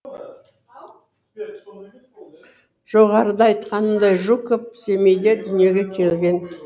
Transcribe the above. жоғарыда айтқанымдай жуков семейде дүниеге келген